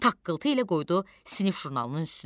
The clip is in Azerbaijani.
Taqqıltı ilə qoydu sinif jurnalının üstünə.